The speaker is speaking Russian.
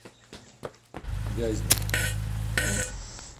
вязьмой